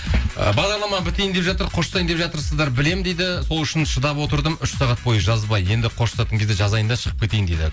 ы бағдарлама бітейін деп жатыр қоштасайын деп жатырсыздар білемін дейді сол үшін шыдап отырдым үш сағат бойы жазбай енді қоштасатын кезде жазайын да шығып кетейін дейді